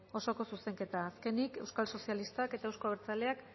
osoko zuzenketa azkenik euskal sozialistak eta euzko abertzaleak